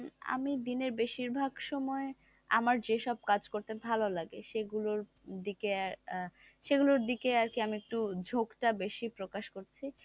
আমি দিনের বেশিরভাগ সময় আমার যেসব কাজ করতে ভালো লাগে সেগুলো দিকে সেগুলো দিকে আর কি আমি একটু ঝুঁক টা বেশি প্রকাশ করি,